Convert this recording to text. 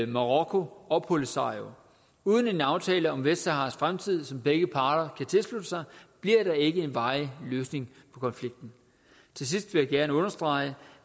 marokko og polisario uden en aftale om vestsaharas fremtid som begge parter kan tilslutte sig bliver der ikke en varig løsning på konflikten til sidst vil jeg gerne understrege